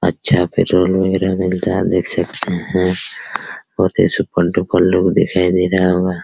अच्छा पेट्रोल वगैरा मिलता है आप देख सकते हैं बहोत ही सुपर - डुपर लोग दिखाई दे रहा होगा।